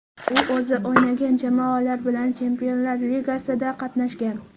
U o‘zi o‘ynagan jamoalar bilan Chempionlar ligasida qatnashgan.